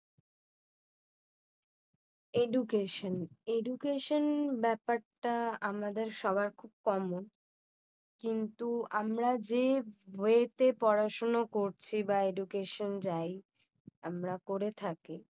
Education Education ব্যাপারটা আমাদের সবার খুব commmon কিন্তু আমরা যে ওয়েতে পড়া শোন করছি বা Education যায়। আমরা করে থাকি